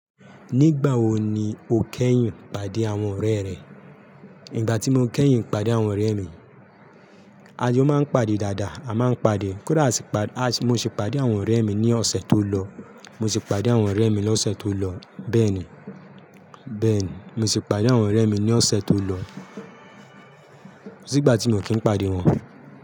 Nígbà wo ni o kẹ́yìn ìpàdé àwọn ọ̀rẹ́ rẹ? Ígbà tí mo kẹ́yìn ìpàdé àwọn ọ̀rẹ́ mi, a jo máa ń pàdé dáadáa, àmáa ń pàdé. Kódà àṣìpà-- aṣ-- mo sì pàdé àwọn ọ̀rẹ́ mi ní ọ̀sẹ̀ tó lọ. Mo sì pàdé àwọn ọ̀rẹ́ mi lóṣẹ̀ tó lọ. Bẹ́ẹ̀ni, bẹ́ẹ̀ni mo sì pàdé àwọn ọ̀rẹ́ mi ní ọ̀sẹ̀ tó lọ. Ko sígbà tí mo kí ń pàdé wọn.